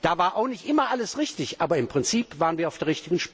Da war auch nicht immer alles richtig, aber im Prinzip waren wir auf der